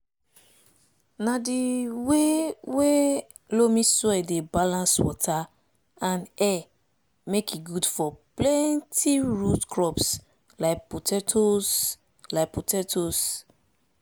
na di wey wey loamy soil dey balance water and air make e good for plenti root crops like potatoes like potatoes